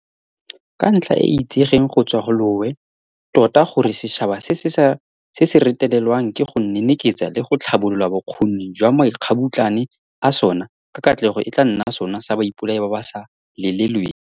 Ke ntlha e e itsegeng go tswa lowe tota gore setšhaba se se retelelwang ke go neneketsa le go tlhabolola bokgoni jwa makgabutlane a sona ka katlego e tla nna sona sa baipolai ba ba sa lelelweng.